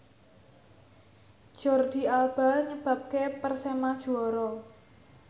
Jordi Alba nyebabke Persema juara